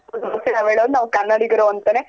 ನಾವ್ ಕನ್ನಡಿಗರು ಅಂತನೆ.